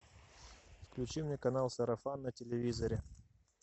включи мне канал сарафан на телевизоре